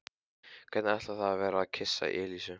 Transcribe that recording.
Hvernig ætli það væri að kyssa Elísu?